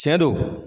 Tiɲɛ don